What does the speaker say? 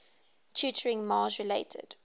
tutoring mars related